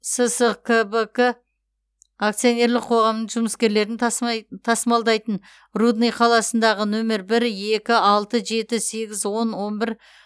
сскбк акционерлік қоғамының жұмыскерлерін тасымалдайтын рудный қаласындағы нөмір бір екі алты жеті сегіз он он бір